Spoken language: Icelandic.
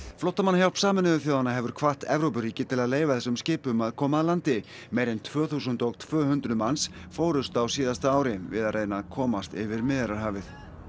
flóttamannahjálp Sameinuðu þjóðanna hefur hvatt Evrópuríki til að leyfa þessum skipum að koma að landi meira en tvö þúsund og tvö hundruð manns fórust á síðasta ári við að reyna að komast yfir Miðjarðarhafið